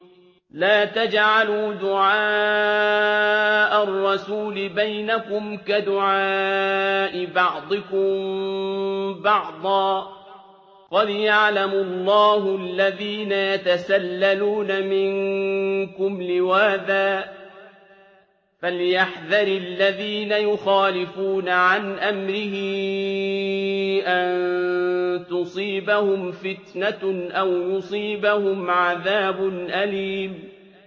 لَّا تَجْعَلُوا دُعَاءَ الرَّسُولِ بَيْنَكُمْ كَدُعَاءِ بَعْضِكُم بَعْضًا ۚ قَدْ يَعْلَمُ اللَّهُ الَّذِينَ يَتَسَلَّلُونَ مِنكُمْ لِوَاذًا ۚ فَلْيَحْذَرِ الَّذِينَ يُخَالِفُونَ عَنْ أَمْرِهِ أَن تُصِيبَهُمْ فِتْنَةٌ أَوْ يُصِيبَهُمْ عَذَابٌ أَلِيمٌ